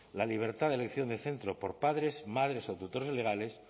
la libertad de elección de centro por padres madres o tutores legales